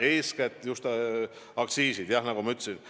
Eeskätt on põhjuseks just aktsiisid, nagu ma juba ütlesin.